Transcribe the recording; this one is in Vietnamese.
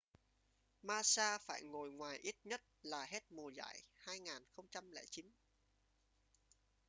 massa phải ngồi ngoài ít nhất là hết mùa giải 2009